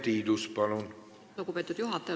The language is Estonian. Aitäh, lugupeetud juhataja!